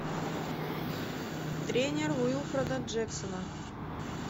тренер уилфреда джексона